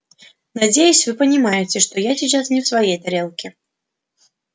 надеюсь вы понимаете что я сейчас не в своей тарелке